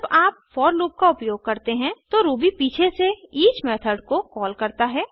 जब आप for loop का उपयोग करते हैं तो रूबी पीछे से ईच मेथड को कॉल करता है